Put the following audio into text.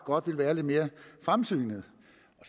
godt vil være lidt mere fremsynede